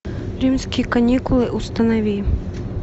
римские каникулы установи